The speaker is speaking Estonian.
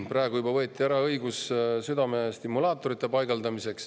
Juba on ära võetud õigus südamestimulaatoreid paigaldada.